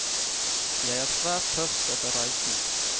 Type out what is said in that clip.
Jeg er svært tørst etter reisen.